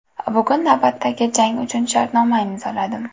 Bugun navbatdagi jang uchun shartnoma imzoladim.